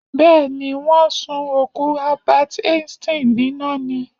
Bẹ́́ẹ̀ ni, wọ́n sun òkú Albert einstein níná ni.